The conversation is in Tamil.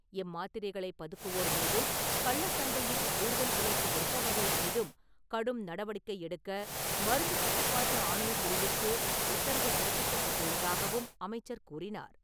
இம்மாத்திரைகளை பதுக்குவோர் மீதும், கள்ளசந்தையில், கூடுதல் விலைக்கு விற்பவர்கள் மீதும் கடும் நடவடிக்கை எடுக்க, மருந்து கட்டுப்பாட்டு ஆணைய பிரிவிற்கு உத்தரவு பிறப்பிக்கப்பட்டுள்ளதாகவும் அமைச்சர் கூறினார்.